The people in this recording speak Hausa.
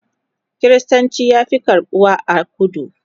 kristanci ya Fi karɓuwa a kudu